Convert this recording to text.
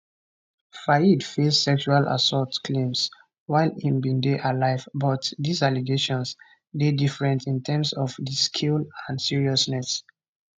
fayed face sexual assault claims while im bin dey alive but dis allegations dey different in terms of di scale and seriousness